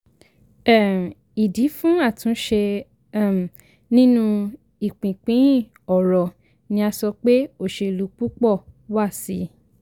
um ìdí fún àtúnṣe um nínú ìpínpín ọrọ̀ ni a sọ pé òṣèlú púpọ̀ wà sí i.